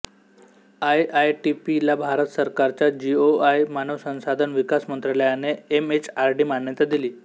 आयआयटीपीला भारत सरकारच्या जीओआय मानव संसाधन विकास मंत्रालयाने एमएचआरडी मान्यता दिली